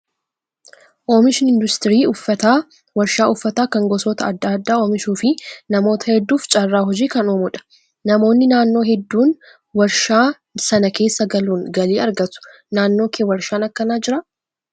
Oomishni industirii uffata warshaa uffata kan gosoota adda addaa oomishuu fi namoota heddduuf carraa hojii kan uumudha. Namoonni naannoo hedduun warshaa sana keessa galuun galii argatu. Naannoo kee warshaan akkanaa jiraa?